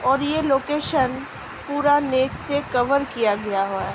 और ये लोकेशन पूरा नेट से कवर किया गया हुआ --